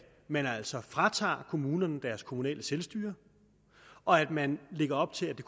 man altså fratager kommunerne deres kommunale selvstyre og at man lægger op til at det